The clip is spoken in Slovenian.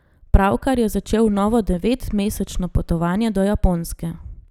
Pravkar je začel novo devetmesečno potovanje do Japonske.